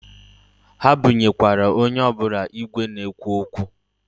Ha bunyekwara onye ọbụna igwe na-ekwu okwu.